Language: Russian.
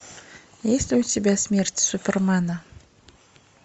есть ли у тебя смерть супермена